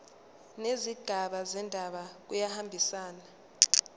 nezigaba zendaba kuyahambisana